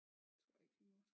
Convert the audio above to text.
Det tror jeg ikke vi må